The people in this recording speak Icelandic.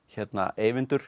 Eyvindur